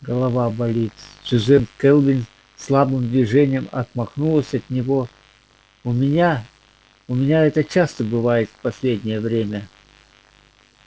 голова болит сьюзен кэлвин слабым движением отмахнулась от него у меня у меня это часто бывает в последнее время